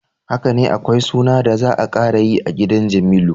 Hakane akwai suna da za a karayi a gidan Jamilu.